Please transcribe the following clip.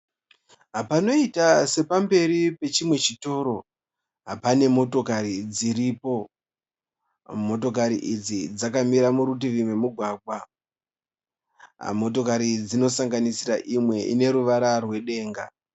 Panoita sepamberi pechimwe chitiro pane motokari dziripo motokari idzi dzakamira murutivi rwemugwagwa motokari idzi dzinosanganisira imwe ine ruvara rwedenga